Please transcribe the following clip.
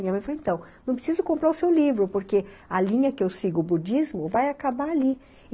Minha mãe falou, então, não preciso comprar o seu livro, porque a linha que eu sigo, o budismo, vai acabar ali.